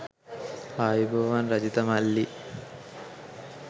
ආයුබෝවන් රජිත මල්ලි